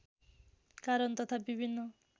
कारण तथा विभिन्न